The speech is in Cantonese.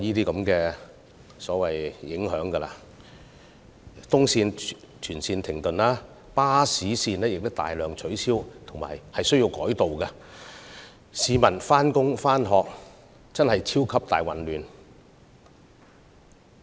東鐵綫全線停駛，亦有大量巴士路線需要取消或改道，以致市民在上班和上課時出現"超級大混亂"。